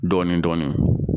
Dɔɔnin dɔɔnin